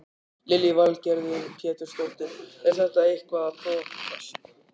Lillý Valgerður Pétursdóttir: Er þetta eitthvað að þokast?